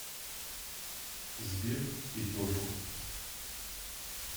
сбер и только